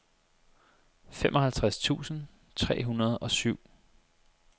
femoghalvtreds tusind tre hundrede og syv